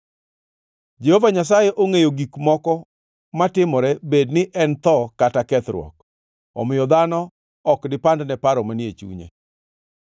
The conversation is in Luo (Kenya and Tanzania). Jehova Nyasaye ongʼeyo gik moko matimore, bed ni en Tho kata Kethruok, omiyo dhano ok dipandne paro manie chunye!